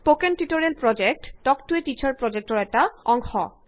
spoken tutorial project talk to a teacher প্ৰজেক্টৰ অংশ